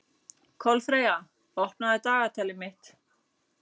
Kolfreyja, opnaðu dagatalið mitt.